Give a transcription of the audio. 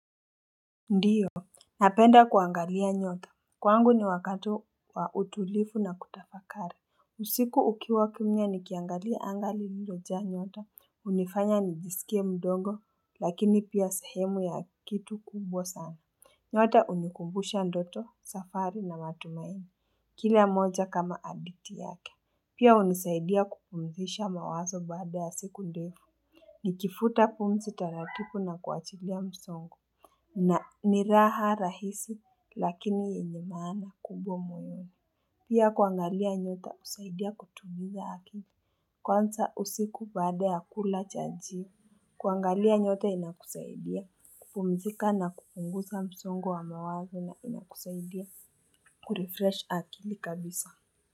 Ndiyo, napenda kuangalia nyota. Kwangu ni wakati wa utulivu na kutafakari. Usiku ukiwa kimya nikiangalia angaa lililojaa nyota. Hunifanya nijisikie mdogo, lakini pia sehemu ya kitu kubwa sana. Nyota hunikumbusha ndoto, safari na matumaini. Kila mmoja kama hadithi yake. Pia hunisaidia kupumzisha mawazo baada ya siku ndefu. Nikifuta pumsi taratibu na kuachilia msongo. Na ni raha rahisi lakini yenye maana kubwa mwenye. Pia kuangalia nyota husaidia kutuliza akili. Kwanza usiku baada ya kula chajio kuangalia nyota inakusaidia kupumzika na kupunguza msongo wa mawazo na inakusaidia kurefresh akili kabisa.